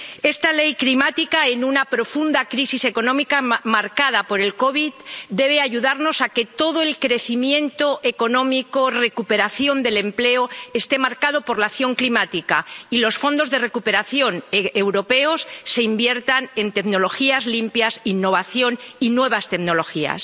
Esta Ley climática, en una profunda crisis económica marcada por la COVID, debe ayudarnos a que todo el crecimiento económico y la recuperación del empleo estén marcados por la acción climática, y a que los fondos de recuperación europeos se inviertan en tecnologías limpias, innovación y nuevas tecnologías.